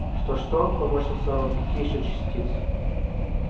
что-что поморщился рон какие ещё частицы